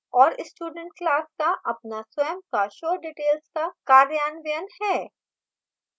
और student class का अपना स्वंय का showdetails का कार्यान्वयन है